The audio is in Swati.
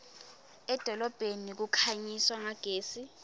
edolobheni kukhanyiswa ngagesi